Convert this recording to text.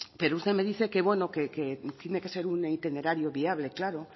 pero usted me dice que bueno que tiene que ser un itinerario viable claro